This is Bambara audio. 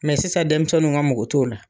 sisan dɛnmisɛnninw ka mɔgɔ t'o la.